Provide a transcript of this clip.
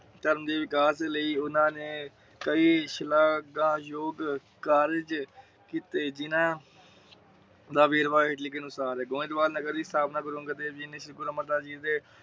ਧਰਮ ਦੇ ਵਿਕਾਸ ਲਾਇ । ਓਹਨਾ ਨੇ ਕਈ ਸਿਲਾਗੈਜੋਗ ਕਾਰਜ ਕੀਤੇ । ਜਿਨਾਹ ਦਾ ਵੇਰਵਾ ਹੇਠ ਲਿਖੇ ਅਨੁਸਾਰ ਹੈ। ਗੋਇਦ ਬਾਲ ਨਗਰ ਦੇ ਸਤਾਹਪਨਾ ਗੁਰੂ ਅੰਗਦ ਦੇਵ ਜੀ ਨੇ ਸ਼੍ਰੀ ਗੁਰੂ ਅਮਰ ਦਾਸ ਜੀ ਦੇ